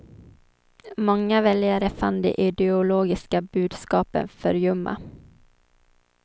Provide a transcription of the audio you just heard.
Många väljare fann de ideologiska budskapen för ljumma.